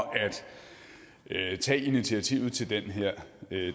at tage initiativet til den her